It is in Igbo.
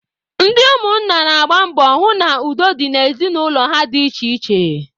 Ndị ụmụ nna na-agba mbọ hụ na udo dị n'ezinụlọ ha dị iche iche.